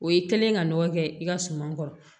O ye kɛlen ka nɔgɔ kɛ i ka suman kɔrɔ